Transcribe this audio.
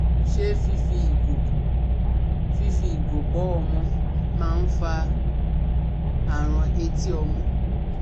Ṣé fífi ìgò fífi ìgò bọ́ ọmọ maa ń fa àrùn etí ọmọ?